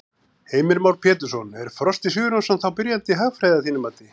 Heimir Már Pétursson: Er Frosti Sigurjónsson þá byrjandi í hagfræði að þínu mati?